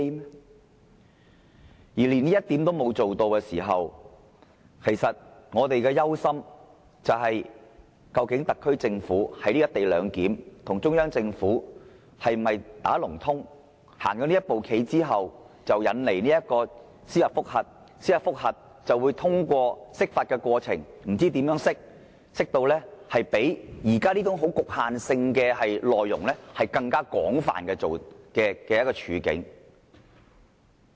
倘若連這一點都做不到，我們憂心的是，究竟特區政府在"一地兩檢"上是否與中央政府"打龍通"，走了這一步棋後引來司法覆核，藉司法覆核造成釋法的需要，繼而將現時這種非常局限的情況引申至更廣泛的情況。